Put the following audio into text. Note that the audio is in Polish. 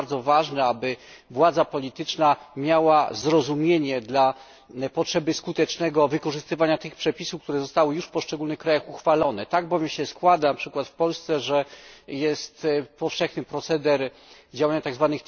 Jest bardzo ważne, aby władza polityczna miała zrozumienie dla potrzeby skutecznego wykorzystywania tych przepisów, które zostały już w poszczególnych krajach uchwalone. Tak bowiem się składa, np. w Polsce, że występuje powszechny proceder działania tzw.